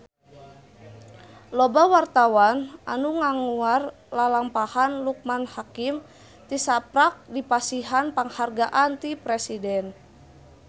Loba wartawan anu ngaguar lalampahan Loekman Hakim tisaprak dipasihan panghargaan ti Presiden